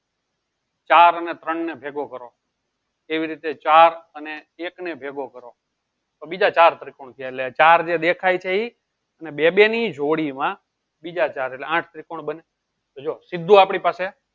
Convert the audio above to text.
ચાર અને ત્રણ ને ભેગો કરો એવી રીતે ચાર અને એક ને ભેગો કરો તો બીજા ચાર ત્રિકોણ થયા એટલે ચાર એ દેખાય છે ઈ અને બે બે ની જોડી મા બીજા ચાર આઠ ત્રિકોણ બન્યા તો સીધું આપળી પાસે